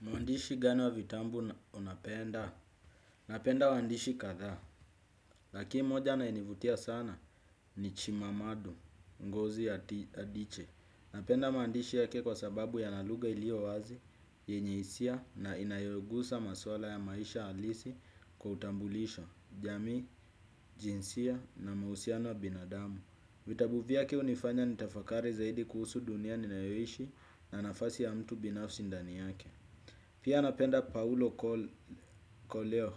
Muandishi gani wa vitambu unapenda? Napenda waandishi kadhaa, laki moja anaenivutia sana ni chimamadu, ngozi ya adiche. Napenda maandishi yake kwa sababu yana lugha ilio wazi, yenye hisia na inayogusa maswala ya maisha alisi kwa utambulisho, jamii, jinsia na mausiano ya binadamu. Vitabu vyake unifanya nitafakari zaidi kuhusu dunia ninayoishi na nafasi ya mtu binafsi ndani yake. Pia napenda Paulo Koleo.